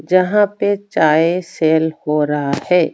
जहाँ पे चाय सेल हो रहा हैं।